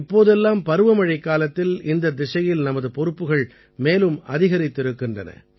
இப்போதெல்லாம் பருவமழைக்காலத்தில் இந்தத் திசையில் நமது பொறுப்புகள் மேலும் அதிகரித்திருக்கின்றன